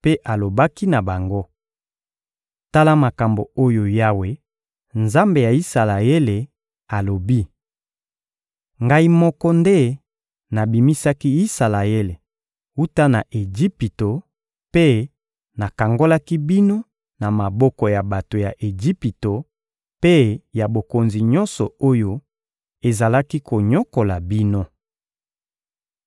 mpe alobaki na bango: «Tala makambo oyo Yawe, Nzambe ya Isalaele, alobi: ‹Ngai moko nde nabimisaki Isalaele wuta na Ejipito mpe nakangolaki bino na maboko ya bato ya Ejipito mpe ya bokonzi nyonso oyo ezalaki konyokola bino.›